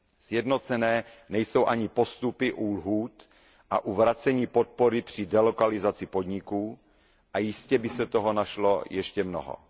Sjednocené nejsou ani postupy u lhůt a u vracení podpory při delokalizaci podniků a jistě by se toho našlo ještě mnoho.